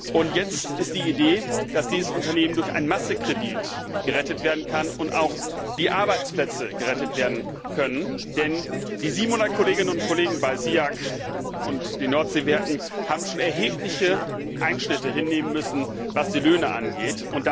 Und jetzt ist die Idee, dass dieses Unternehmen durch einen Massekredit gerettet werden kann und auch die Arbeitsplätze gerettet werden können, denn die 700 Kolleginnen und Kollegen bei SIAG und den Nordseewerken haben schon erhebliche Einschnitte hinnehmen müssen, was die Löhne angeht.